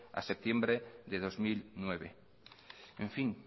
a septiembre de dos mil nueve en fin